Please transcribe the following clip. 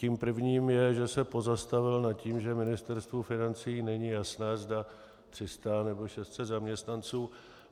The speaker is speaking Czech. Tím prvním je, že se pozastavil nad tím, že Ministerstvu financí není jasné, zda 300, nebo 600 zaměstnanců.